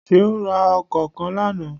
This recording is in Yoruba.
Seun ra Ọkọ́ kán lánàá.